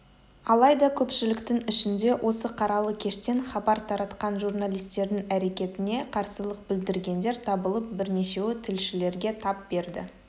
алайда көпшіліктің ішінде осы қаралы кештен хабар таратқан журналистердің әрекетіне қарсылық білдіргендер табылып бірнешеуі тілшілерге тап берді